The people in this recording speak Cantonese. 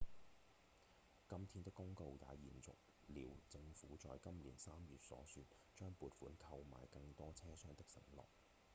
今天的公告也延續了政府在今年三月所說、將撥款購買更多車廂的承諾